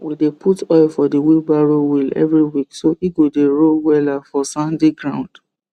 we dey put oil for the wheelbarrow wheel every week so e go dey roll wella for sandy ground